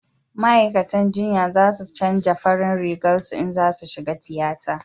ma'aikatan jinya za su canja farin Rigar su in za su shiga tiyata